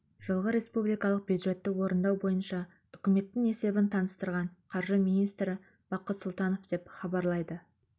жылғы республикалық бюджетті орындау бойынша үкіметтің есебін таныстырған қаржы министрі бақыт сұлтанов айтты деп хабарлайды